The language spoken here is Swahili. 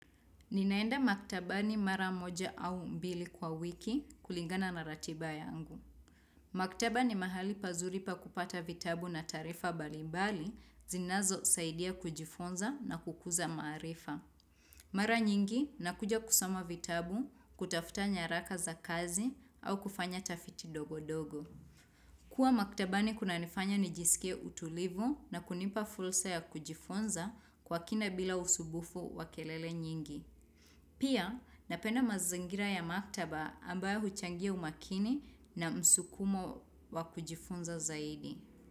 Ninaenda maktabani mara moja au mbili kwa wiki kulingana na ratiba yangu. Maktaba ni mahali pazuri pa kupata vitabu na taarifa mbalimbali zinazosaidia kujifunza na kukuza maarifa. Mara nyingi nakuja kusoma vitabu kutafuta nyaraka za kazi au kufanya tafiti dogodogo. Kua maktabani kunanifanya nijisikie utulivu na kunipa fursa ya kujifunza kwa kina bila usumbufu wa kelele nyingi. Pia napenda mazingira ya maktaba ambayo huchangia umakini na msukumo wa kujifunza zaidi.